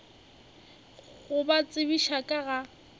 go ba tsebiša ka ga